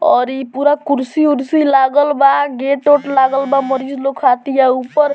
और इ पुरा कुर्सी-उर्सी लागल बा गेट उट लागल बा मरीज़ लोग खातिर ऊपर --